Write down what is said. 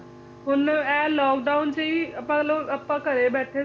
ਹੁਣ ਇਹ lockdown ਚ ਵੀ ਆਪਾ ਚਲੋ ਆਪਾ ਘਰੇ ਬੈਠੇ ਸੀਗੇ